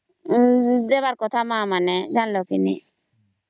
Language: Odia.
ଦେବାର କଥା ମା ମା ମାନେ ଜାଣିଲା କେ ନାଇଁ